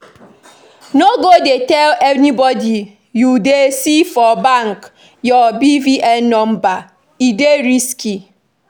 No go dey tell anybody you see for bank your BVN number, e dey risky